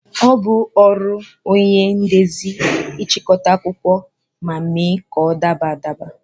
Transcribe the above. Ọ bụ ọrụ onye ndezi ịchịkọta akụkọ ma mee ka ọ daba adaba